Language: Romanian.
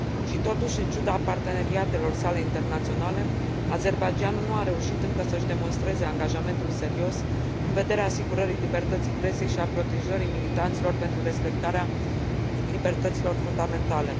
Și totuși, în ciuda parteneriatelor sale internaționale, Azerbaidjanul nu a reușit încă să își demonstreze angajamentul serios în vederea asigurării libertății presei și a protejării militanților pentru respectarea libertăților fundamentale.